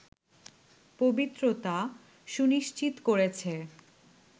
পবিত্রতা সুনিশ্চিত করেছে